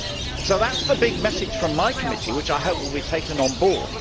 So that is the big message from my committee which I hope will be taken on board.